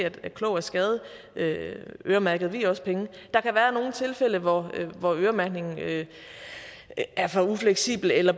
at klog af skade øremærkede vi også penge der kan være nogle tilfælde hvor øremærkningen er for ufleksibel eller